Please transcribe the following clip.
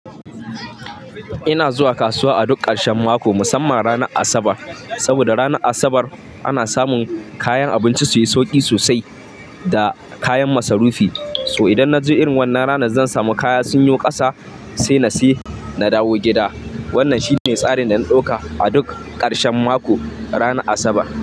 Ina zuwa kasuwa a duk ƙarshen mako, musamman ranar Asabar. Saboda ranar Asabar, ana samun kayan abinci su yi sauki sosai da kayan masarufi. To idan na ji irin wannan ranar zan samu kaya sun yi ƙasa sai na sayi na dawo gida. Wannan shine tsarin da na ɗauka a duk ƙarshen mako, ranar Asabar.